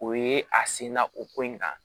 O ye a senna o ko in kan